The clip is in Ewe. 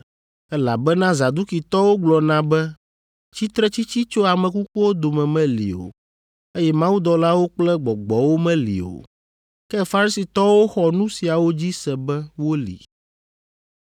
(Elabena Zadukitɔwo gblɔna be tsitretsitsi tso ame kukuwo dome meli o, eye mawudɔlawo kple gbɔgbɔwo meli o, ke Farisitɔwo xɔ nu siawo dzi se be woli.)